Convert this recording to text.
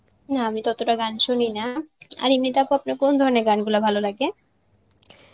না আমি ততটা গান শুনি না, আর এমনিতে আপা আপনে কোন ধরনের গান গুলা ভালো লাগে?